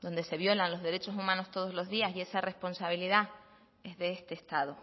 donde se violan los derechos humanos todos los días y esa responsabilidad es de este estado